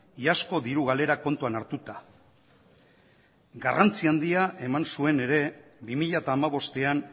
iazko diru galerak kontuan hartuta garrantzi handia eman zuen ere bi mila hamabostean